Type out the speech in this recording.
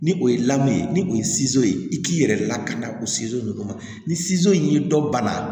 Ni o ye ye ni o ye ye i k'i yɛrɛ lakana o nunnu ma ni y'i dɔ bana